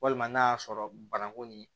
Walima n'a y'a sɔrɔ banankun nin